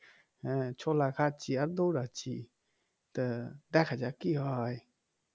হ্যাঁ ছোলা খাচ্ছি আর দৌড়াচ্ছি তা দেখা যাক কি হয়